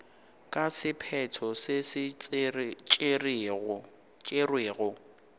ka sephetho se se tšerwego